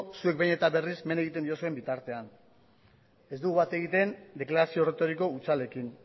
zuek behin eta berriz men egiten diozuen bitartean ez dugu bat egiten deklarazio erretoriko hutsalekin